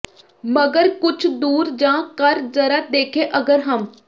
ਮਗਰ ਕੁਛ ਦੂਰ ਜਾ ਕਰ ਜ਼ਰਾ ਦੇਖੇਂ ਅਗਰ ਹਮ